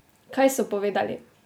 Kaj so povedali?